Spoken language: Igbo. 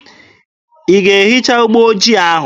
Ị ga-ehicha ụgbọ ojii ahụ!